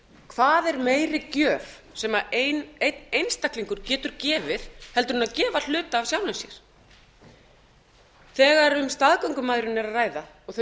hvað er meiri gjöf sem einn einstaklingur getur gefið heldur en að gefa hluta af sjálfum sér þegar um staðgöngumæðrun er að ræða og þau